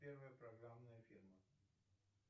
первая программная фирма